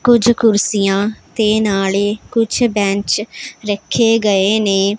ਕੁਝ ਕੁਰਸੀਆਂ ਤੇ ਨਾਲੇ ਕੁੱਛ ਬੈਂਚ ਰੱਖੇ ਗਏ ਨੇਂ।